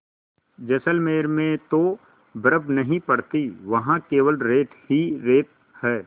जैसलमेर में तो बर्फ़ नहीं पड़ती वहाँ केवल रेत ही रेत है